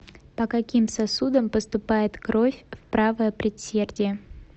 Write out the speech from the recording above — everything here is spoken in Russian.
по каким сосудам поступает кровь в правое предсердие